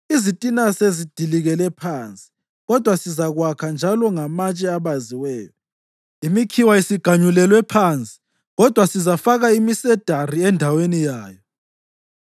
“Izitina sezidilikele phansi, kodwa sizakwakha njalo ngamatshe abaziweyo; imikhiwa isiganyulelwe phansi, kodwa sizafaka imisedari endaweni yayo.”